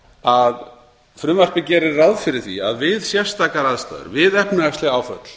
að frumvarpið gerir ráð fyrir því að við sérstakar aðstæður við efnahagsleg áföll